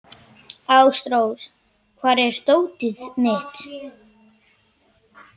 Ásrós, hvar er dótið mitt?